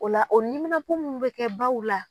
O la o niminapo min bɛ kɛ baw la.